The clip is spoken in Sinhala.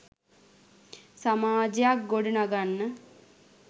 සමාජයක් ගොඩ නගන්න